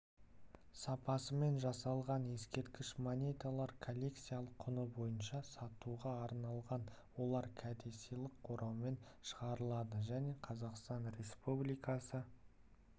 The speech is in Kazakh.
сапасымен жасалған ескерткіш монеталар коллекциялық құны бойынша сатуға арналған олар кәдесыйлық ораумен шығарылады және қазақстан республикасы